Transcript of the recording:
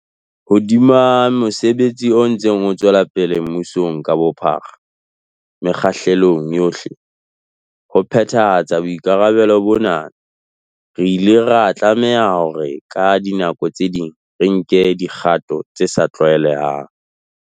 Hodima mosebetsi o ntseng o tswelapele mmusong ka bophara, mekgahlelong yohle, ho phethahatsa boikarabelo bona, re ile ra tlameha hore ka dinako tse ding re nke dikgato tse sa tlwaelehang.